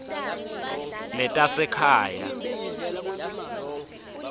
letasekhaya